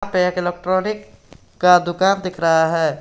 पे एक इलेक्ट्रॉनिक का दुकान दिख रहा है।